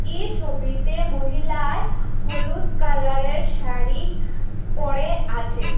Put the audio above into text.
এই ছবিতে মহিলায় হলুদ কালার -এর শাড়ি পরে আছে।